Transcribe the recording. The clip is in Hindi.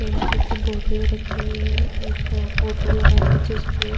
एम्पू की बोटलें रखी हुई हैं। एक फोटो लगा हैं जिसपे --